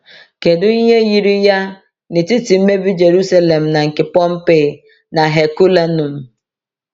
Kedu ihe yiri ya n’etiti mmebi Jerusalem na nke Pompeii na Herculaneum?